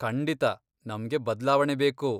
ಖಂಡಿತ ನಮ್ಗೆ ಬದ್ಲಾವಣೆ ಬೇಕು.